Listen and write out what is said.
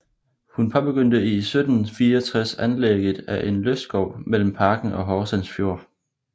Hun påbegyndte i 1764 anlægget af en lystskov mellem parken og Horsens Fjord